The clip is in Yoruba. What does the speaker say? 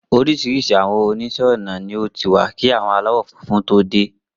Oríṣiríṣi àwọn oníṣẹ́ ọnà ni ó ti wà kí àwọn aláwọ̀ funfun tó dé.